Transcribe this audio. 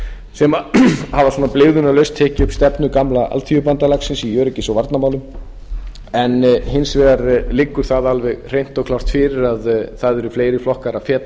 sem hafa svona blygðunarlaust tekið stefnu gamla alþýðubandalagsins í öryggis og varnarmálum en hins vegar liggur það alveg hreint og klárt fyrir að það eru fleiri flokkar að feta